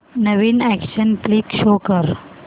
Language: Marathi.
नवीन अॅक्शन फ्लिक शो कर